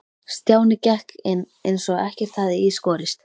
Stjáni gekk inn eins og ekkert hefði í skorist.